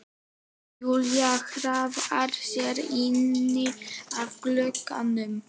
Júlía hraðar sér inn að glugganum.